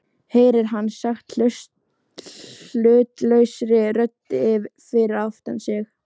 heyrir hann sagt hlutlausri rödd fyrir aftan sig.